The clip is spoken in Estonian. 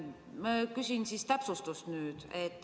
Ma küsin täpsustust.